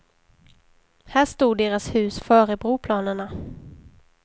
Här stod deras hus före broplanerna.